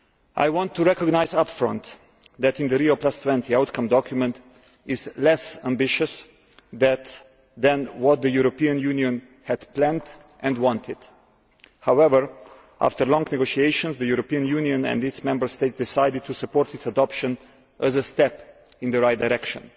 I want to recognise up front that the Rio20 outcomes document is less ambitious than what the European Union had planned and wanted. However, after long negotiations, the European Union and its Member States decided to support its adoption as a step in the right direction.